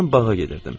Mən bağa gedirdim.